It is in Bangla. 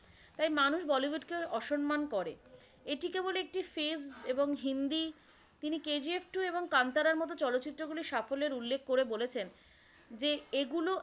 তাই মানুষ বলিউডকে অসম্মান করে। এটি কেবল একটি frase এবং হিন্দি তিনি কেজিএফ টূ এবং কান্তারার মতো চলচ্চিত্রগুলির সাফল্যের উল্লেখ করে বলেছেন যে এগুলো